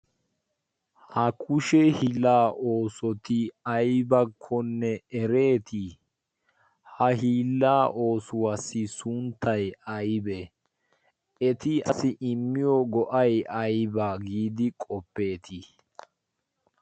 ha kushshe hiilaa qommoy aybaappe oosetti ereetii? eti qaasi immiyo go'ay aybaa getettii?